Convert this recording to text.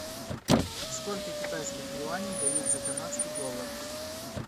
сколько китайских юаней дают за канадский доллар